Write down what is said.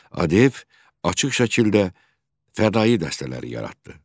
ADF açıq şəkildə fədai dəstələri yaratdı.